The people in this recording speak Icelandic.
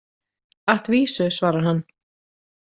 At vísu, svarar hann.